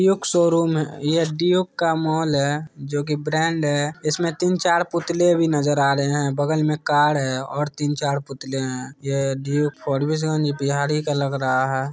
Duke showroom यह Duke का mall है जो कि ब्रांड है। इस में तीन-चार पुतले भी नजर आ रहे हैं। बगल में कार है और तीन-चार पुतले है। यह ड्यूक्स फारबिसगंज बिहार ही का लग रहा है।